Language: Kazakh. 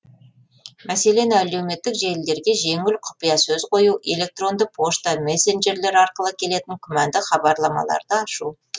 мәселен әлеуметтік желілерге жеңіл құпия сөз қою электронды пошта месенджерлер арқылы келетін күмәнді хабарламаларды ашу